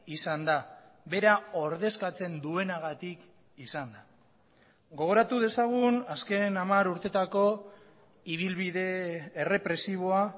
izan da bera ordezkatzen duenagatik izan da gogoratu dezagun azken hamar urteetako ibilbide errepresiboa